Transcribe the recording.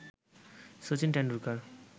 Sachin Tendulkar